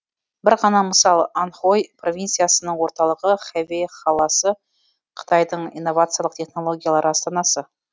бір ғана мысал аньхой провинциясының орталығы хэфэй қаласы қытайдың инновациялық технологиялар астанасы